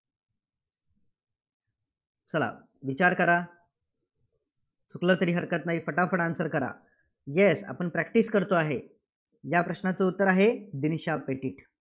चला, विचार करा. चुकलं तरी हरकत नाही. फटाफट answer करा. Yes आपण practice करतो आहे. या प्रश्नाचं उत्तर आहे, दिनशा पेटीट